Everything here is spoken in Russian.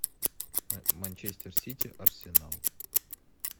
манчестер сити арсенал